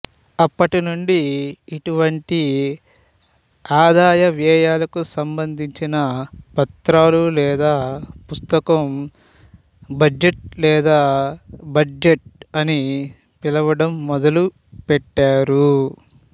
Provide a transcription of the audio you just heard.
అప్పటినుండి ఇటువంటి ఆదాయ వ్యయాలకు సంభందించిన పత్రాలు లేదా పుస్తకం బడ్జటు లేదా బడ్జెట్ అని పిలవడం మొదలుపెట్టారు